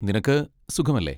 നിനക്ക് സുഖമല്ലേ?